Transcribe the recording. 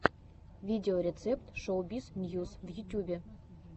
видеорецепт шоубиз ньюс в ютюбе